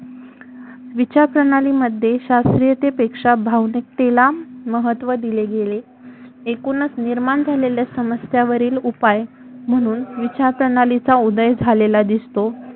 विचारप्रणाली मध्ये शास्त्रीयतेपेक्षा भावनिकतेला महत्व दिले गेले एकुणच निर्माण झालेल्या समस्येवरील उपाय म्हणून विचारप्रणालीचा उदय झालेला दिसतो